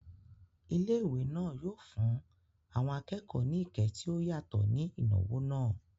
Ilé ìwé náà yóò fún àwọn akẹ́kọ̀ọ́ ní ìkẹ́ tí ó yàtọ̀ ní ìnáwó náà